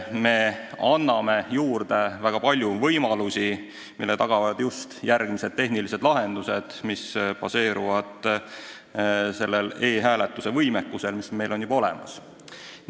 Me anname juurde väga palju võimalusi, mille tagavad just uued tehnilised lahendused, mis baseeruvad e-hääletuse võimekusel, mis meil on juba olemas.